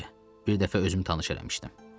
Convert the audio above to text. Bir dəfə özümü tanış eləmişdim.